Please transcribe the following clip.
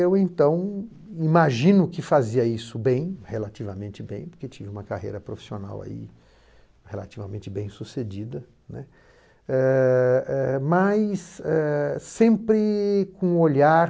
Eu, então, imagino que fazia isso bem, relativamente bem, porque tive uma carreira profissional ai relativamente bem sucedida, né, eh eh mais sempre com o olhar